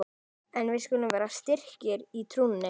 En við skulum vera styrkir í trúnni!